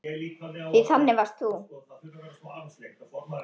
Því þannig varst þú.